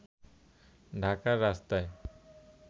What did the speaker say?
ঢাকার রাস্তায়